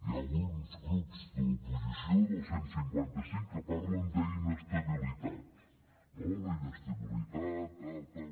hi ha alguns grups de l’oposició del cent i cinquanta cinc que parlen d’ inestabilitat no la inestabilitat tal tal